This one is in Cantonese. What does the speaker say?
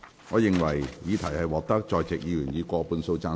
我認為議題獲得在席議員以過半數贊成。